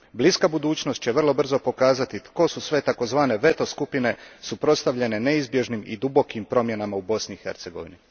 Bliska budućnost će vrlo brzo pokazati tko su sve takozvane veto skupine suprotstavljene neizbježnim i dubokim promjenama u Bosni i Hercegovini.